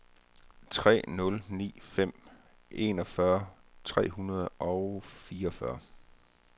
tre nul ni fem enogfyrre tre hundrede og fireogfyrre